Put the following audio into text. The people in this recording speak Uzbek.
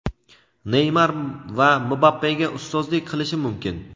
Neymar va Mbappega ustozlik qilishi mumkin.